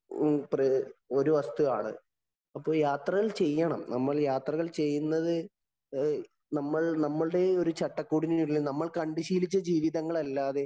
ഒരു വസ്തുവാണ്. അപ്പോള്‍ യാത്രകള്‍ ചെയ്യണം. നമ്മള്‍ യാത്രകള്‍ ചെയ്യുന്നത് നമ്മള്‍ നമ്മുടെ ഒരു ചട്ടകൂടിനുള്ളില്‍ നമ്മള്‍ കണ്ടു ശീലിച്ച ജീവിതങ്ങള്‍ അല്ലാതെ